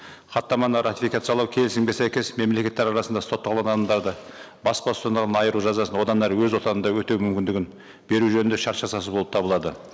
хаттаманы ратифкациялау келісімге сәйкес мемлекеттер арасында сотталған адамдарды бас бостандығынан айыру жазасын одан әрі өз отанында өтеу мүмкіндішін беру жөнінде шарт жасасу болып табылады